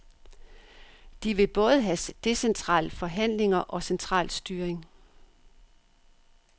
De vil både have decentrale forhandlinger og central styring.